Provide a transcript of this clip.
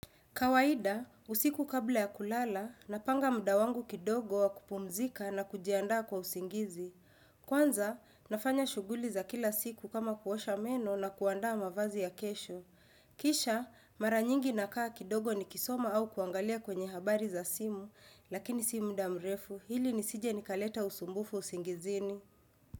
Kawaida, usiku kabla ya kulala, napanga muda wangu kidogo wa kupumzika na kujiandaa kwa usingizi. Kwanza, nafanya shughuli za kila siku kama kuosha meno na kuandaa mavazi ya kesho. Kisha, mara nyingi nakaa kidogo nikisoma au kuangalia kwenye habari za simu, lakini si muda mrefu, ili nisije nikaleta usumbufu usingizini.